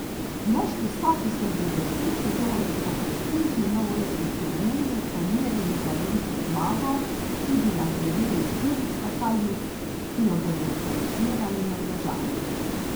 Moški skoki se bodo v tej sezoni po prestižni novoletni turneji pomerili za veliko zmago tudi na turneji štirih skakalnic, ki jo bodo organizirali Norvežani.